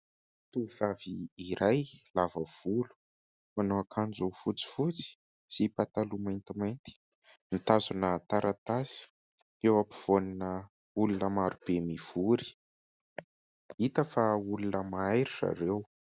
Tovovavy iray lava volo, manao akanjo fotsifotsy sy pataloha maintimainty, mitazona taratasy, eo ampovoanina olona maro be mivory. Hita fa olona mahay ry zareo.